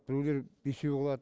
біреулер бесеу қылады